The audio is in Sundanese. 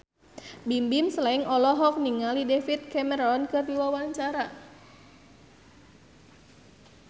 Bimbim Slank olohok ningali David Cameron keur diwawancara